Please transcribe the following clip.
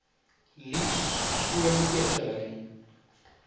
liefs skoon eetgerei